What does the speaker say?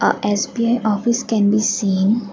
a SBI office can be seen.